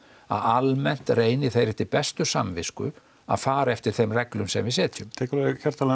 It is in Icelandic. að almennt reyni þeir eftir bestu samvisku að fara eftir þeim reglum sem við setjum tek alveg hjartanlega